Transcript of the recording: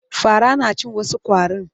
Fara na cin wasu ƙwarin.